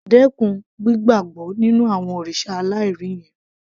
Dẹ́kun gbígbàbọ́ nínú àwọn òrìṣà aláìrí yẹn